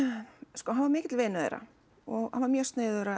sko hann var mikill vinur þeirra og hann var mjög sniðugur að